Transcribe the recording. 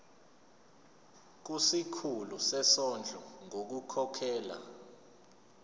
kusikhulu sezondlo ngokukhokhela